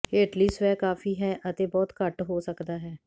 ਹੇਠਲੀ ਸਵੈ ਕਾਫੀ ਹੈ ਅਤੇ ਬਹੁਤ ਘੱਟ ਹੋ ਸਕਦਾ ਹੈ